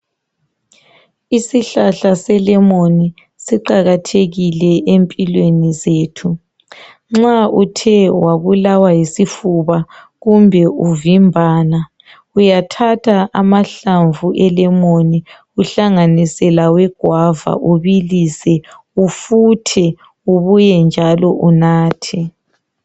Isihlahla selemoni siqakathekile empilweni zethu. Nxa uthe wabulawa yisifuba kumbe uvimbana uyathatha amahlamvu elemoni, uhlanganise lawe guava ubilise ufuthe ubuye njalo unathe.